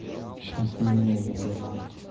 сейчас меня ебанут